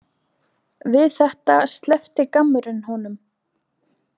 Við þetta sleppti gammurinn honum.